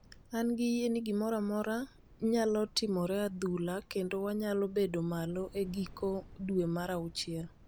an gi yie ni gimoro amora nyalo timore adhula kendo wanyalo bed malo e giko dwe mar auchiel